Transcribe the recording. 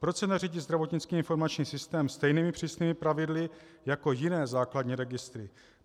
Proč se neřídí zdravotnický informační systém stejnými přísnými pravidly jako jiné základní registry?